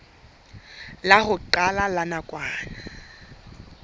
la ho qala la nakwana